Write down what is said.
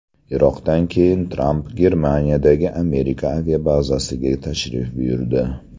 Iroqdan keyin Tramp Germaniyadagi Amerika aviabazasiga tashrif buyurdi.